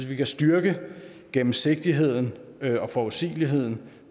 vi kan styrke gennemsigtigheden og forudsigeligheden